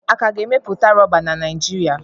A ka ga na emepụta Rọba na Naijiria.